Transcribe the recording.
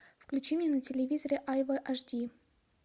включи мне на телевизоре айва аш ди